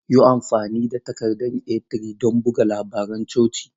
Yi amfani da takarda A3 don buga labaran coci.